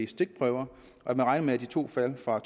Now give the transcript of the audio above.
stikprøver og at man regner med at de to fald fra